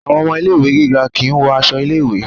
Àwọn ọmọ ilé ìwé gíga kìí wọ aṣọ ilé ìwé.